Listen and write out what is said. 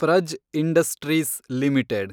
Praj Industries limited